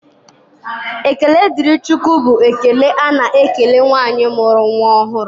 Ekele dịrị Chukwu bụ ekele a na-ekele nwaanyị mụrụ nnwa ọhụrụ.